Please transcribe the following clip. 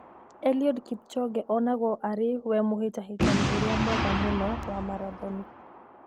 Eliud Kipchoge onagwo arĩ we mũhĩtahĩtani ũrĩa mwega mũno wa marathoni.